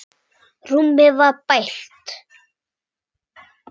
Rúmið var bælt.